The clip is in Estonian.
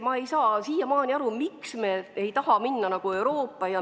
Ma ei saa siiamaani aru, miks me ei taha minna sama teed nagu muu Euroopa.